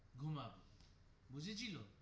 ঘুমাবো বুঝেছিলো.